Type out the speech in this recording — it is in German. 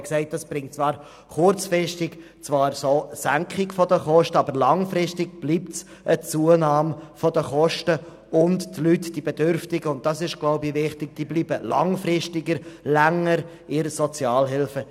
Er sagte, es bringe kurzfristig eine Senkung der Kosten, aber langfristig bleibe eine Zunahme der Kosten bestehen, und die Bedürftigen blieben länger in der Sozialhilfe.